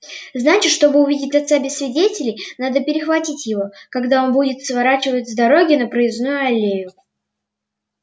значит чтобы увидеть отца без свидетелей надо перехватить его когда он будет сворачивать с дороги на проездную аллею